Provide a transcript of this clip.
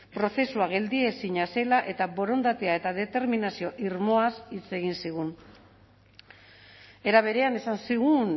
prozesua geldiezina zela eta borondatea eta determinazio irmoaz hitz egin zigun era berean esan zigun